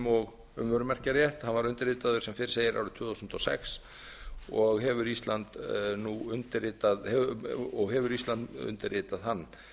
og um vörumerkjarétt hann var undirritaður sem fyrr segir árið tvö þúsund og sex og hefur ísland undirritað hann